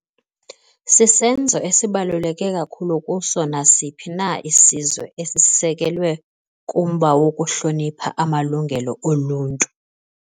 Sisenzo esibaluleke kakhulu kuso nasiphi na isizwe esisekelwe kumba wokuhlonipha amalungelo oluntu.